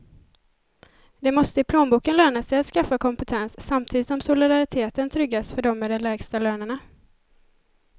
Det måste i plånboken löna sig att skaffa kompetens, samtidigt som solidariteten tryggas för dem med de lägsta lönerna.